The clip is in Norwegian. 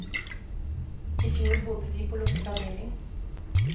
I fjor bodde de på lukket avdeling.